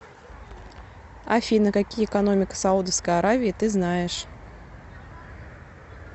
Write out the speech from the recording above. афина какие экономика саудовской аравии ты знаешь